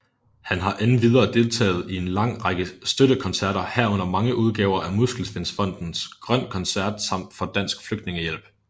Han har endvidere deltaget i en lang række støttekoncerter herunder mange udgaver af Muskelsvindfondens Grøn koncert samt for Dansk Flygtningehjælp